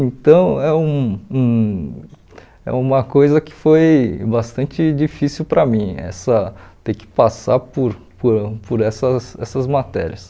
Então, é um um é uma coisa que foi bastante difícil para mim, essa ter que passar por por por essas essas matérias.